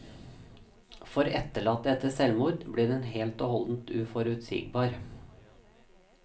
For etterlatte etter selvmord, blir den helt og holdent uforutsigbar.